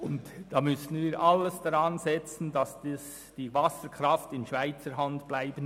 Wir müssen alles daran setzen, dass die Wasserkraft in Schweizer Hand bleibt.